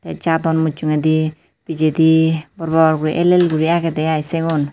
te jadon mujugedi pijedi bor bor guri el el guri agede aai sigun.